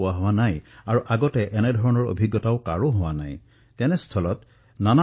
এনে পৰিস্থিতি নতুন নতুন প্ৰত্যাহ্বান আৰু সেই প্ৰত্যাহ্বানসমূহৰ বাবে আমি কষ্টৰো সন্মুখীন হবলগীয়া হৈছো